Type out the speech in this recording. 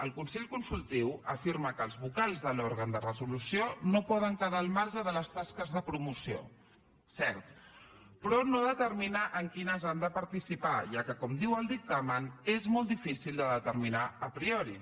el consell consultiu afirma que els vocals de l’òrgan de resolució no poden quedar al marge de les tasques de promoció cert però no determina en quines han de participar ja que com diu el dictamen és molt difícil de determinar a priori